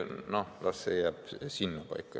Nii et las see teema jääb sinnapaika.